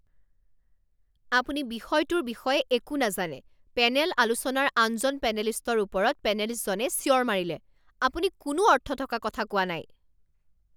আপুনি বিষয়টোৰ বিষয়ে একো নাজানে, পেনেল আলোচনাৰ আনজন পেনেলিষ্টৰ ওপৰত পেনেলিষ্টজনে চিঞৰ মাৰিলে। "আপুনি কোনো অৰ্থ থকা কথা কোৱা নাই "